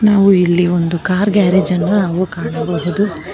ನಾವು ಇಲ್ಲಿ ಒಂದು ಕಾರ್ ಗ್ಯಾರೇಜ್ ಅನ್ನ್ ನಾವು ಕಾಣಬಹುದು.